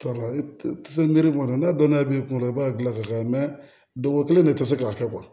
kɔnɔ n'a dɔnn'a bɛ kunna i b'a gilan ka kɛ dɔgɔ kelen de tɛ se k'a kɛ